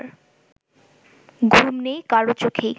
ঘুম নেই কারো চোখেই